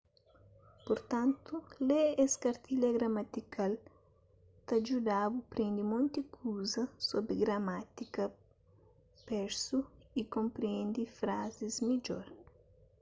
purtantu lê es kartilha gramatikal ta djuda-bu prende monti kuza sobri gramátika persu y konprende frazis midjor